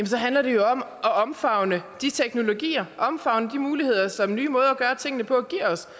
så handler det jo om at omfavne de teknologier omfavne de muligheder som nye måder at gøre tingene på